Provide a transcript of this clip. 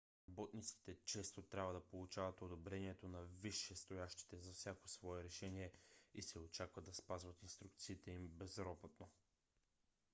работниците често трябва да получават одобрението на висшестоящите за всяко свое решение и се очаква да спазват инструкциите им безропотно